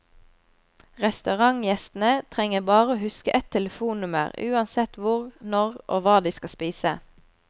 Restaurantgjestene trenger bare å huske ett telefonnummer uansett hvor, når og hva de skal spise.